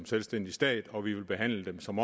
selvstændig stat og at vi vil behandle dem som